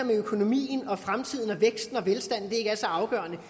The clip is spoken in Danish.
med økonomien og fremtiden og væksten og velstanden ikke er så afgørende